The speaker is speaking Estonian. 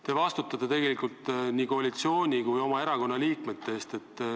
Te vastutate tegelikult nii koalitsiooni kui oma erakonna liikmete ees.